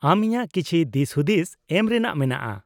ᱟᱢ ᱤᱧᱟᱹᱜ ᱠᱤᱪᱷᱤ ᱫᱤᱥ ᱦᱩᱫᱤᱥ ᱮᱢ ᱨᱮᱱᱟᱜ ᱢᱮᱱᱟᱜᱼᱟ ᱾